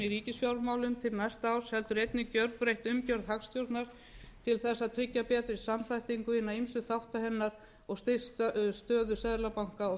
ríkisfjármálum til næsta árs heldur einnig gerbreytt umgjörð hagstjórnar til að tryggja betri samþættingu hinna ýmsu þátta hennar og styrkt stöðu seðlabanka og